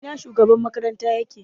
Ina shugaban makaranta yake?